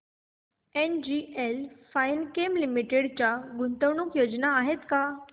NGL fine chem limited च्या गुंतवणूक योजना आहेत का